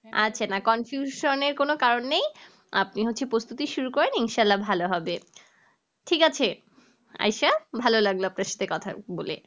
আচ্ছা confusion এর কোন কারণ নেই। আপনি হচ্ছে প্রস্তুতি শুরু করেন ইনশাআল্লাহ ভালো হবে। ঠিক আছে আয়েশা ভালো লাগলো আপনার সাথে কথা বলে।